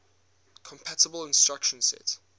compatible instruction set